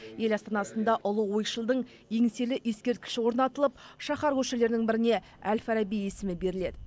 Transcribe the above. ел астанасында ұлы ойшылдың еңселі ескерткіші орнатылып шаһар көшелерінің біріне әл фараби есімі беріледі